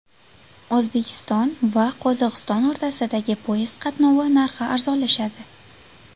O‘zbekiston va Qozog‘iston o‘rtasidagi poyezd qatnovi narxi arzonlashadi.